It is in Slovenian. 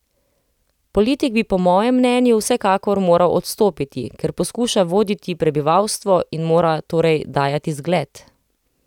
Politik bi po mojem mnenju vsekakor moral odstopiti, ker poskuša voditi prebivalstvo in mora torej dajati zgled.